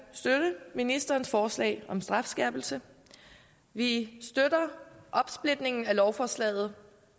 støtte ministerens forslag om strafskærpelse vi støtter opsplitningen af lovforslaget